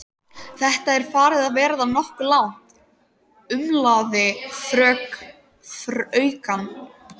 Þetta er farið að verða nokkuð langt, umlaði fraukan.